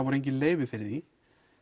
voru engin leyfi fyrir því